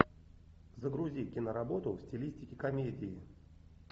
загрузи киноработу в стилистике комедии